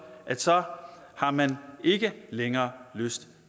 at så har man ikke længere lyst